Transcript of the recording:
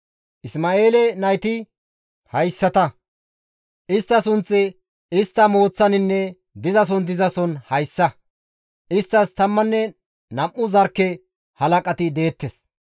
Isma7eele nayti haytantta; istta sunththi istta mooththaaninne dizason dizason hayssa; isttas 12 zarkke halaqati deettes.